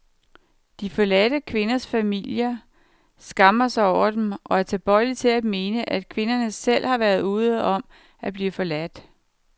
De forladte kvinders familier skammer sig over dem og er tilbøjelige til at mene, at kvinderne selv har været ude om at blive forladt.